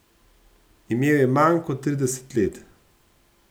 Imel je manj kot trideset let.